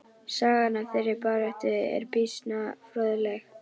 Sagan af þeirri baráttu er býsna fróðleg.